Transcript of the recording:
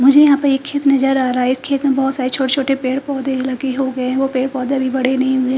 मुझे यहाँ पर एक खेत नज़र आरा है इस खेत में बोहोत सारे छोटे छोटे पेड़ पोधे लगे होगे है वो पेड़ पोधे अभी बड़े नही हुए --